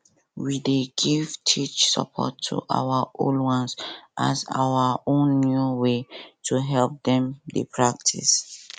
we dey give tech support to our old ones as our own new way to help dem dey practice